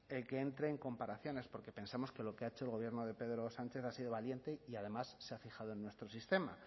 el que entrae en comparaciones porque pensamos que lo que ha hecho el gobierno de pedro sánchez ha sido valiente y además se ha fijado en nuestro sistema